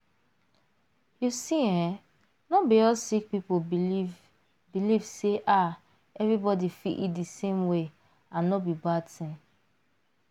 you see eh not be all sick people believe believe say ah everybody fit eat di same way and no be bad tin.